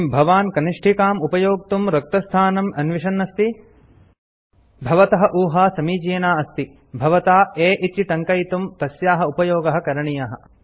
किम् भवान् कनिष्ठिकाम् उपयोक्तुं रक्तस्थानम् अन्विषन् अस्ति भवतः ऊहा समीचीना अस्ति भवता a इति टङ्कयितुं तस्याः उपयोगः करणीयः